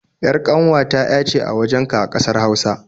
ƴar ƙanwata ƴa ce a wajenka a ƙasar Hausa